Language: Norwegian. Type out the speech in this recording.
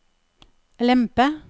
lempe